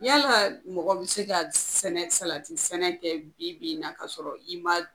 Yala mɔgɔ bɛ se ka sɛnɛ salati sɛnɛ kɛ bi bi in na ka sɔrɔ i ma